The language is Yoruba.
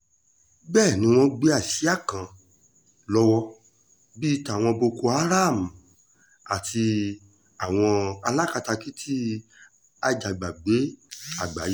bẹ́ẹ̀ ni wọ́n gbé àsíá ńlá kan lọ́wọ́ bíi tàwọn boko háráàmù tàbí àwọn alákatakítí àjàgbàgbé àgbáyé